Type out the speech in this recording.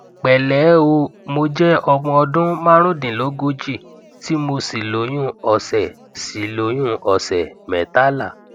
pẹlẹ ẹ o mo jẹ ọmọ ọdún marundinlogoji tí mo sì lóyún ọsẹ sì lóyún ọsẹ metala